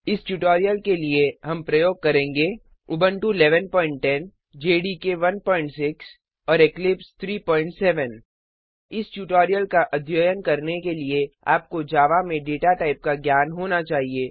इस ट्यूटोरियल के लिए हम प्रयोग करेंगे उबुंटू 1110 जेडीके 16 और इक्लिप्स 37 इस ट्यूटोरियल का अध्ययन करने के लिए आपको जावा में डेटा टाइप का ज्ञान होना चाहिए